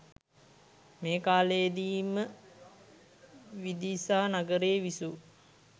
මේ කාලයේදී ම විදිසා නගරයේ විසූ